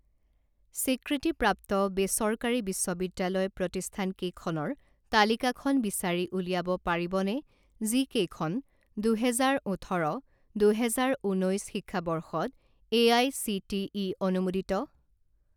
স্বীকৃতিপ্ৰাপ্ত বেচৰকাৰী বিশ্ববিদ্যালয় প্ৰতিষ্ঠানকেইখনৰ তালিকাখন বিচাৰি উলিয়াব পাৰিবনে যিকেইখন দুহেজাৰ ওঠৰ দুহেজাৰ ঊনৈছ শিক্ষাবৰ্ষত A I C T E অনুমোদিত?